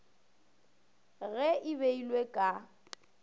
ge e beilwe ka go